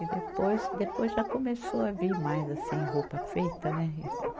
E depois, depois já começou a vir mais assim roupa feita, né e? Uhum